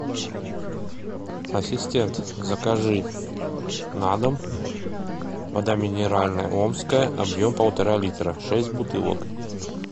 ассистент закажи на дом вода минеральная омская объем полтора литра шесть бутылок